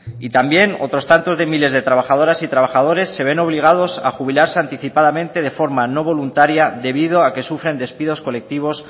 y también otros tantos de miles de trabajadoras y trabajadores se ven obligados a jubilarse anticipadamente de forma no voluntaria debido a que sufren despidos colectivos